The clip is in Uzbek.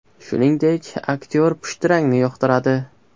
Shuningdek, aktyor pushti rangni yoqtiradi.